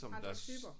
Andre typer